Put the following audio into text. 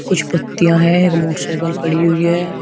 कुछ पत्तियां हैं एक मोटर साइकिल खड़ी हुई है।